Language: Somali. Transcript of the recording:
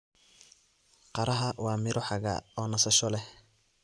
Qaraha waa miro xagaa oo nasasho leh.